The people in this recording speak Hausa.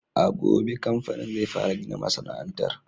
A gobe kamfanin zai fara gina masana'antar.